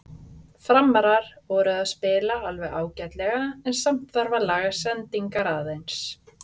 Framarar voru að spila alveg ágætlega en samt þarf að laga sendingarnar aðeins.